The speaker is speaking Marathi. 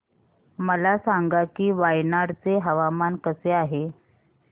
मला सांगा की वायनाड चे हवामान कसे आहे